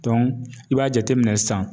i b'a jateminɛ sisan